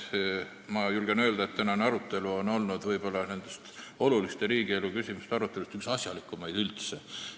Ma julgen öelda, et tänane arutelu on olnud võib-olla oluliste riigielu küsimuste aruteludest üks asjalikumaid üldse.